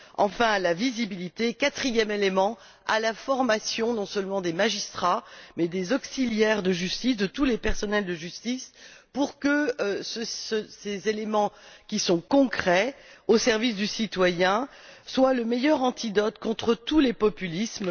enfin, la visibilité et quatrième élément l'accès à la formation non seulement des magistrats mais aussi des auxiliaires de justice, de tous les personnels de justice, pour que ces éléments, qui sont concrets, au service du citoyen, soient le meilleur antidote contre tous les populismes.